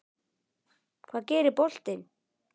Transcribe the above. Hvað gerir boltinn?